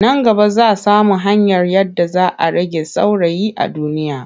Nan gaba za samo hanyar yadda za a rage sauraye a duniya.